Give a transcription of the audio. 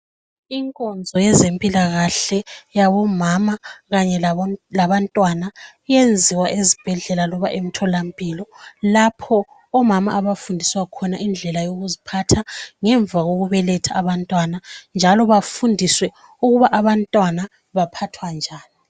Inkonzo yezempilakahle yabomama kanye labantwana iyenziwa ezibhedlela loba emtholampilo lapho omama abafundiswa khona indlela yokuziphatha ngemva kokubeletha abantwana njalo bafundiswe ukuba abantwana baphathwa njani.